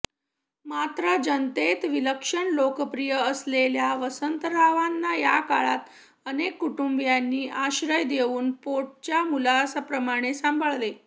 मात्र जनतेत विलक्षण लोकप्रिय असलेल्या वसंतरावांना या काळात अनेक कुटुंबांनी आश्रय देऊन पोटच्या मुलाप्रमाणे सांभाळले